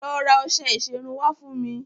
Lọ ra ọṣẹ ìṣerun wá fún mi.